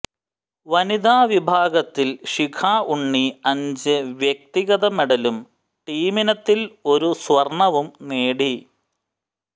വനിത വിഭാഗത്തിൽ ശിഖ ഉണ്ണി അഞ്ച് വ്യക്തിഗത മെഡലും ടീമിനത്തിൽ ഒരു സ്വർണവും നേടി